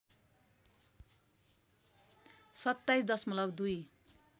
२७ दशमलव २